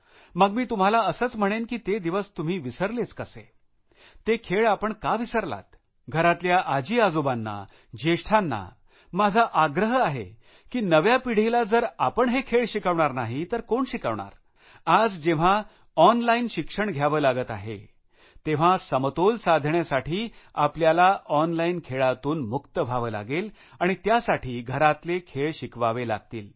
मग मी तुम्हाला असंच म्हणेन की ते दिवस तुम्ही विसरलेच कसे ते खेळ आपण का विसरलात घरातल्या आजीआजोबांना ज्येष्ठांना माझा आग्रह आहे की नव्या पिढीला जर आपण हे खेळ शिकवणार नाही तर कोण शिकवणार आज जेव्हा ऑनलाईन शिक्षण घ्यावे लागत आहे तेव्हा समतोल साधण्यासाठी आपल्याला ऑनलाईन खेळातून मुक्त व्हावे लागेल आणि त्यासाठी घरातले खेळ शिकवावे लागतील